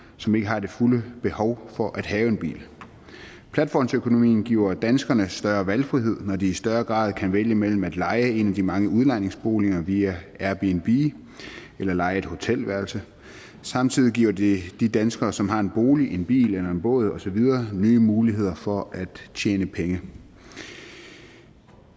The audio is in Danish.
som ikke har det fulde behov for at have en bil platformsøkonomien giver danskerne større valgfrihed når de i større grad kan vælge mellem at leje en af de mange udlejningsboliger via airbnb eller at leje et hotelværelse samtidig giver det de danskere som har en bolig en bil eller en båd osv nye muligheder for at tjene penge det